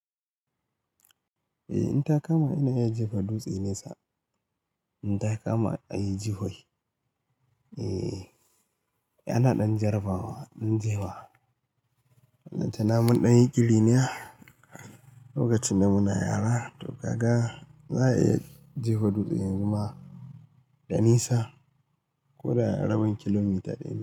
Eh, in ta kama ina iya jefa dutse nesa, in ta kama ayi jifai Eh, ana ɗan jarabawa, ɗan jewa. Balantana mun ɗan yin ƙitiniya lokacin da muna yara to gaga za a iya jifa dutse tsaye, amma ɗanisa ko da rabin kilomita ɗaya.